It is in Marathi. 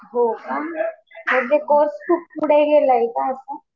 हो का. म्हणजे कोर्स खूप पुढे गेलाय का आता?